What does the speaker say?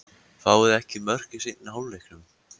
Fáum við ekki mörk í seinni hálfleiknum?